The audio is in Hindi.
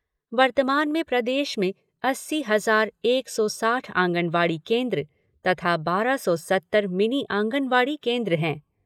वर्तमान में प्रदेश में अस्सी हज़ार एक सौ साठ आँगनवाड़ी केन्द्र तथा बारह सौ सत्तर मिनी आँगनवाड़ी केन्द्र हैं।